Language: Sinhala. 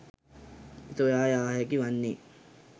සොයා යා හැකි වන්නේ